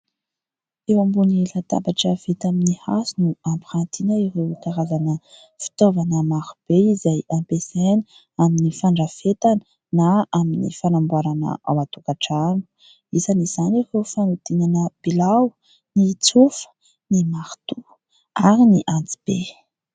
Eo ambony latabatra vita amin'ny hazo no ampirantiana ireo karazana fitaovana marobe izay ampiasaina amin'ny fandrafetana na amin'ny fanamboarana ao an-tokantrano, isan'izany ireo fanodinana bilao, ny tsofa, ny marotoa ary ny antsibe.